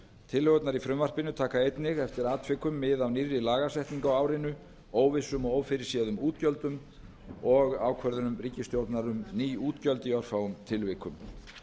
tillögurnar í frumvarpinu taka einnig eftir atvikum mið af nýrri lagasetningu á árinu óvissum og ófyrirséðum útgjöldum og ákvörðunum ríkisstjórnar um ný útgjöld í örfáum tilvikum